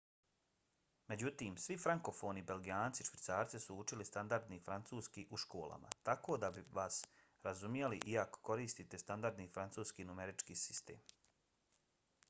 međutim svi frankofoni belgijanci i švicarci su učili standardni francuski u školama tako da bi vas razumjeli i ako koristite standardni francuski numerički sistem